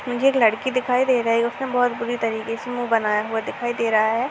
मुझे एक लड़की दिखाई दे रह है उसने बहुत बुरी तरीके से मुँह बनाया हुआ दिखाई दे रहा है।